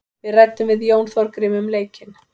Við ræddum við Jón Þorgrím um leikinn.